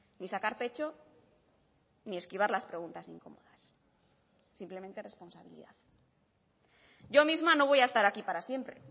ni sacar pecho ni esquivar las preguntas incómodas simplemente responsabilidad yo misma no voy a estar aquí para siempre